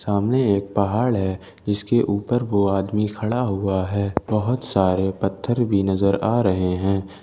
सामने एक पहाड़ है जिसके ऊपर वह आदमी खड़ा हुआ है बहोत सारे पत्थर भी नजर आ रहे हैं।